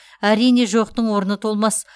әрине жоқтың орны толмас